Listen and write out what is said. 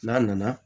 N'a nana